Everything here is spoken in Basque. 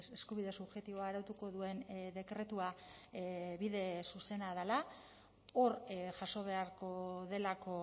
eskubide subjektiboa arautuko duen dekretua bide zuzena dela hor jaso beharko delako